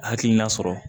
Hakilina sɔrɔ